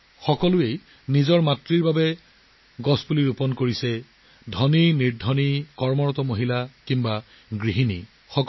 সকলোৱে মাকৰ বাবে গছ ৰোপণ কৰি আছে ধনী হওক বা দুখীয়া হওক সেয়া কৰ্মৰত মহিলা হওক বা গৃহিণী হওক